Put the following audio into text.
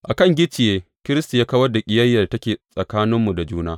A kan gicciye, Kiristi ya kawar da ƙiyayyar da take tsakaninmu da juna.